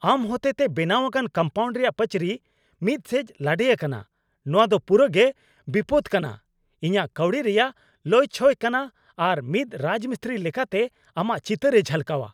ᱟᱢ ᱦᱚᱛᱮᱛᱮ ᱵᱮᱱᱟᱣ ᱟᱠᱟᱱ ᱠᱚᱢᱯᱟᱣᱩᱱᱰ ᱨᱮᱭᱟᱜ ᱯᱟᱹᱪᱨᱤ ᱢᱤᱫ ᱥᱮᱡᱽ ᱞᱟᱰᱮ ᱟᱠᱟᱱᱟᱼ ᱱᱚᱶᱟ ᱫᱚ ᱯᱩᱨᱟᱹᱜᱮ ᱵᱤᱯᱚᱫ ᱠᱟᱱᱟ, ᱤᱧᱟᱹᱜ ᱠᱟᱹᱣᱰᱤ ᱨᱮᱭᱟᱜ ᱞᱚᱭᱪᱷᱚᱭ ᱠᱟᱱᱟ, ᱟᱨ ᱢᱤᱫ ᱨᱟᱡᱢᱤᱥᱛᱨᱤ ᱞᱮᱠᱟᱛᱮ ᱟᱢᱟᱜ ᱪᱤᱛᱟᱹᱨᱮ ᱡᱷᱟᱞᱠᱟᱣᱟ ᱾